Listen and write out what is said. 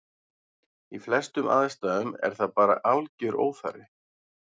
Í flestum aðstæðum er það bara algjör óþarfi.